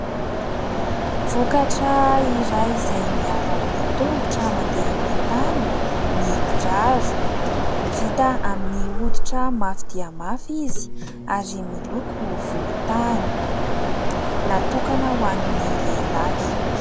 Vokatra iray izay miaro amin'ny tongotra mandeha amin'ny tany ny kiraro. Vita amin'ny hoditra mafy dia mafy izy ary miloko volontany. Natokana ho an'ny lehilahy.